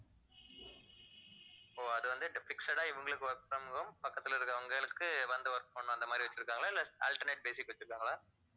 ஓ அது வந்து இவங்களுக்கு work from home பக்கத்துல இருக்கிறவங்களுக்கு வந்து work பண்ணனும் அந்த மாதிரி வச்சிருக்காங்களா இல்ல alternate basic வச்சிருக்காங்களா